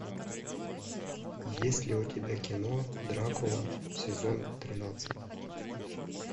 есть ли у тебя кино дракула сезон тринадцать